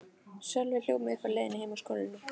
Sölvi hljóp mig uppi á leiðinni heim úr skólanum.